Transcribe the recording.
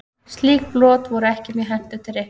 Slík brot voru ekki mjög hentug til reikninga.